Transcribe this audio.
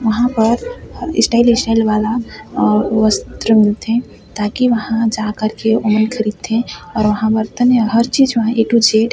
वहाँ पर style style वाला वस्त्र मिलथे ताकि वहाँ जा कर के ओमन खरीदथे और वहाँ बर्तन और हर चीज़ ए टू जेड --